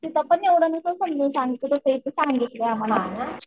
तिथं पण एवढं नव्हतं समजून सांगत तसं इथं सांगितलंय आम्हाला